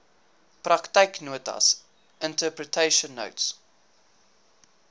praktyknotas interpretation notes